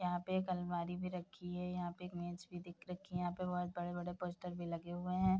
यहाँ पे एक अलमारी भी रखी है यहाँ पे एक भी दिख रखी है यहाँ पे बहुत बड़े-बड़े पोस्टर भी लगे हुए हैं।